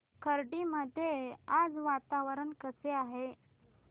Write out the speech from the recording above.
खर्डी मध्ये आज वातावरण कसे आहे